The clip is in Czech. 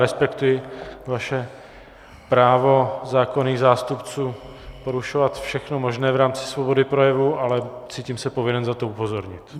Respektuji vaše právo zákonných zástupců porušovat všechno možné v rámci svobody projevu, ale cítím se povinen na to upozornit.